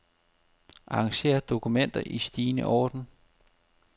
Arranger dokument i stigende orden.